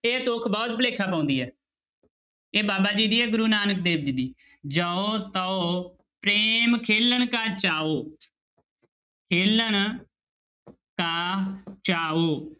ਇਹ ਤੁੱਕ ਬਹੁਤ ਭੁਲੇਖਾ ਪਾਉਂਦੀ ਹੈ ਇਹ ਬਾਬਾ ਜੀ ਦੀ ਹੈ ਗੁਰੂ ਨਾਨਕ ਦੇਵ ਜੀ ਦੀ ਜਉ ਤਉ ਪ੍ਰੇਮ ਖੇਲਣ ਕਾ ਚਾਉ ਖੇਲਣ ਕਾ ਚਾਉ